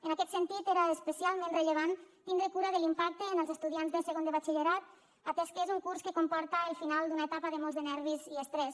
en aquest sentit era especialment rellevant tindre cura de l’impacte en els estudiants de segon de batxillerat atès que és un curs que comporta el final d’una etapa de molts de nervis i estrès